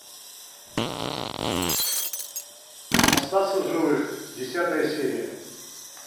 остаться в живых десятая серия